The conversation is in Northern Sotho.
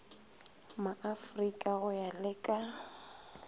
maafrika go ya le ka